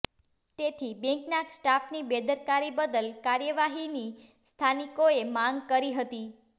તેથી બેન્કનાં સ્ટાફની બેદરકારી બદલ કાર્યવાહીની સ્થાનીકોએ માંગ કરી હતી